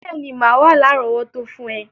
Béèní, má wa lárọ̀wọ́tó fun rẹ